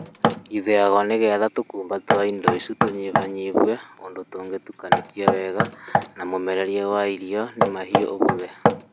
Ithĩagwo nĩgetha tũkumba twa indo icio tũnyihanyihio ũndũ tũngĩtukanĩke wega na mũmererie wa irio nĩ mahiũ ũhũthe.